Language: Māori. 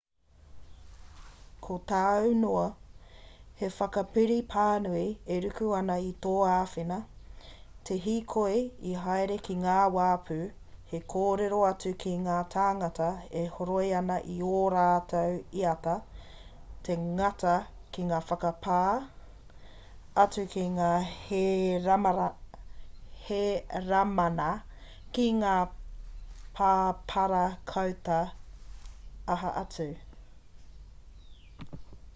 ko tāu noa he whakapiri pānui e ruku ana i tō āwhina te hīkoi haere ki ngā wāpu he kōrero atu ki ngā tāngata e horoi ana i ō rātou iata te ngana ki te whakapā atu ki ngā hēramana ki ngā pāparakauta aha atu